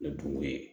O dun ye